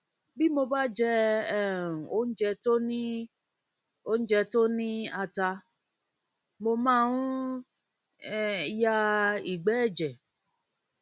bí mo bá jẹ um oúnjẹ tó ní oúnjẹ tó ní ata mo máa ń um ya ìgbẹ ẹjẹ